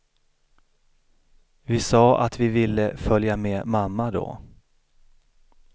Vi sa att vi ville följa med mamma då.